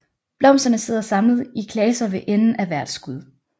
Blomsterne sidder samlet i klaser ved enden af hvert skud